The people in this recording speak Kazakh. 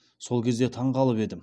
сол кезде таңғалып едім